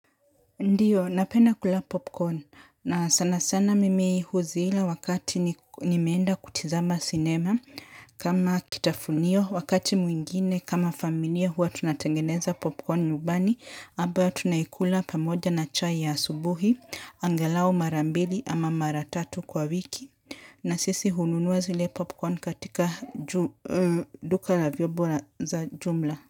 Ndiyo, napenda kula popcorn na sana sana mimi huzila wakati ni nimeenda kutizama cinema kama kitafunio wakati mwingine kama familia huwa tunatengeneza popcorn nubani abayo tunaikula pamoja na chai ya asubuhi, angalao mara mbili ama mara tatu kwa wiki na sisi hununuwa zile popcorn katika duka la vyobo ra za jumla.